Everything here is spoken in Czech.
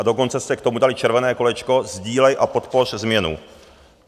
A dokonce jste k tomu dali červené kolečko "Sdílej a podpoř změnu"!